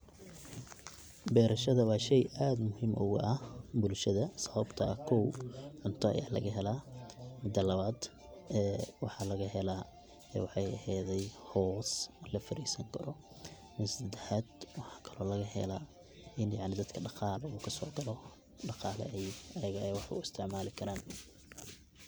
Beerashadha wa shey aad muhiim uga aah bulshadha sababto ah, koow cunta aya lagahela midaa labaad ee waxa lagahela hoos lafadiisini karo, mida sedaxad waxa kalo laga helaa ina dadka daqalo kasogalo daqala aay wax uistacmali karaan.